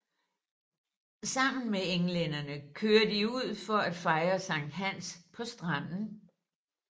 Sammen med englænderne kører de ud for at fejre Sankt Hans på stranden